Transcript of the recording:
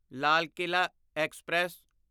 Lal Qila express